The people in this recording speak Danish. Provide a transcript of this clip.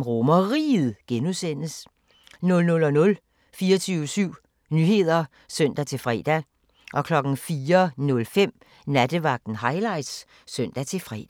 RomerRiget (G) 00:00: 24syv Nyheder (søn-fre) 04:05: Nattevagten Highlights (søn-fre)